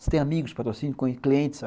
Você tem amigos de patrocínio, clientes?